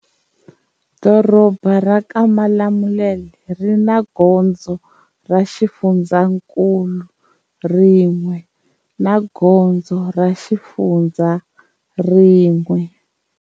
Doroba ra ka Malamulele ri na gondzo ra xifundzakulu rin'we na gondzo ra xifundza rin'we.